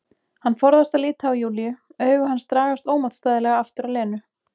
Hann forðast að líta á Júlíu, augu hans dragast ómótstæðilega aftur að Lenu.